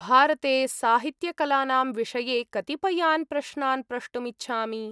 भारते साहित्यकलानां विषये कतिपयान् प्रश्नान् प्रष्टुम् इच्छामि।